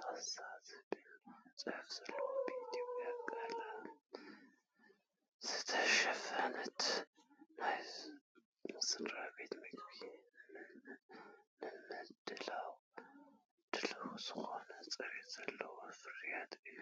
ፓስታ’ ዝብል ጽሑፍ ዘለዎን ብኢትዮጵያዊ ቀለም ዝተሸፈነን። ናይ ስድራቤት ምግቢ ንምድላው ድሉው ዝኾነ ጽሬት ዘለዎ ፍርያት እዩ።